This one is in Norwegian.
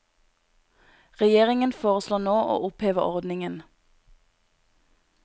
Regjeringen foreslår nå å oppheve ordningen.